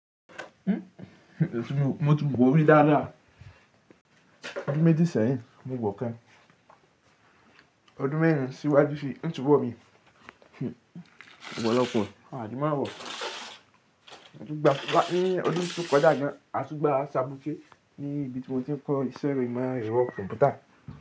Mo tún gbọ́ rí dáadáa. Ọdún méjì sẹ́yìn mo gbọ́ kẹ́, ọdún mẹ́rin síwájú sí ń subọ̀ mi, ọ̀pọ̀lọpọ̀ àlemáwọ̀. Ni ọdún tó kọjá gan a tún gbà ṣabòkí ní ibi tí mo ti ń kọ́ ìṣeré ìmọ̀ ẹ̀rọ kọ̀m̀pútà.